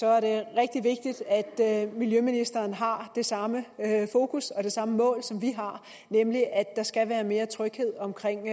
er det rigtig vigtigt at miljøministeren har det samme fokus og det samme mål som vi har nemlig at der skal være mere tryghed omkring